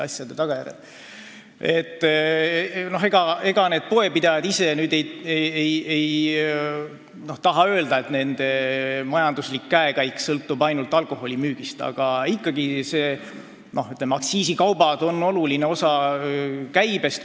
Ega need poepidajad ise ei taha tunnistada, et nende majanduslik käekäik sõltub ainult alkoholi müügist, aga aktsiisikaubad annavad olulise osa käibest.